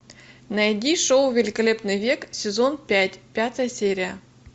найди шоу великолепный век сезон пять пятая серия